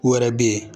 U wɛrɛ bɛ yen